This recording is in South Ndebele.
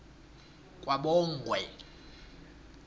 kwabongwe